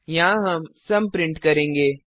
यहाँ हम sum print करेंगे